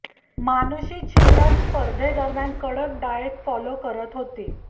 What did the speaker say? मानुषी छिल्लर स्पर्धेदरम्यान कडक diet follow करत होती